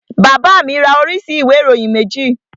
Bàbá mi ra oríṣi ìwé ìròyìn méjì